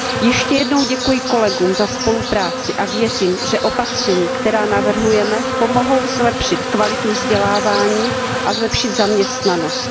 Ještě jednou děkuji kolegům za spolupráci a věřím, že opatření, která navrhujeme, pomohou zlepšit kvalitu vzdělávání a zlepšit zaměstnanost.